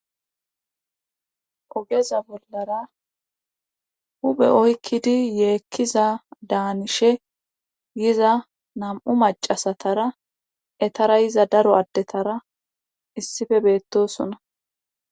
ogeza bollara huphe oykkidi yeekkiza daanishe giza nam'u macasatara etara yiza daro addetara issife beettosona